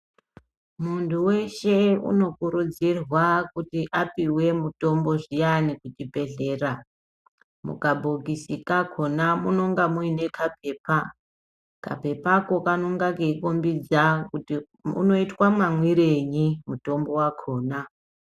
Mundu weshe unokuridzirwa kuti apuwa mutombo zviyani kuchibhehlera mukabhokisi kakona munenge munekapepa kapepa kakona kanokombedza kuti unoita mamwirei mutombo wakona